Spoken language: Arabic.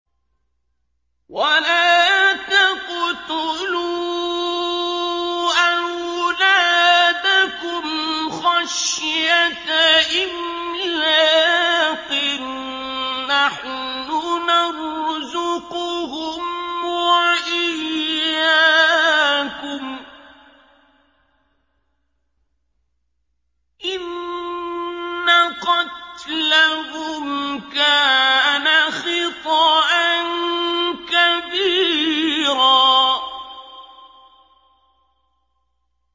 وَلَا تَقْتُلُوا أَوْلَادَكُمْ خَشْيَةَ إِمْلَاقٍ ۖ نَّحْنُ نَرْزُقُهُمْ وَإِيَّاكُمْ ۚ إِنَّ قَتْلَهُمْ كَانَ خِطْئًا كَبِيرًا